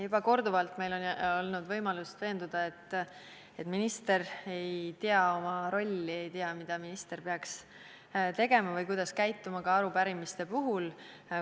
Juba korduvalt on meil olnud võimalus veenduda, et minister ei tea oma rolli, ei tea, mida minister peaks tegema või kuidas käituma arupärimiste puhul.